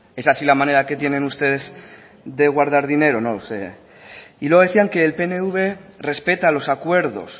es así la manera que tienen ustedes de guardar dinero no lo sé y luego decían que el pnv respeta los acuerdos